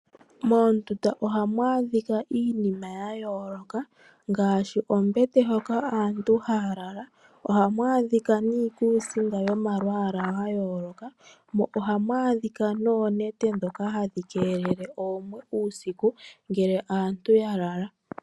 Moondunda ohamu adhika iinima ya yooloka ngaashi oombete hono aantu haya lala, iikusinga yomalwaala ga yooloka, oonete ndhono hadhi keelele oomwe uusiku ngele aantu ya lala.